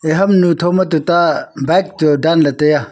e hamnu thoma tuta bike chu danley taiya.